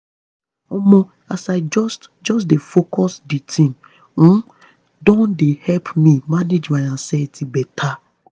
omo as i just just dey focused di thing um don dey help me manage my anxiety better.